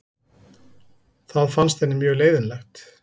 Það fannst henni mjög leiðinlegt.